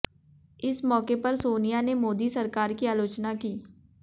इस मौके पर सोनिया ने मोदी सरकार की आलोचना की